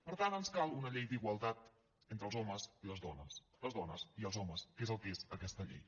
per tant ens cal una llei d’igualtat entre els homes i les dones les dones i els homes que és el que és aquesta llei